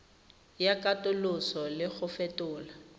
ya katoloso le go fetola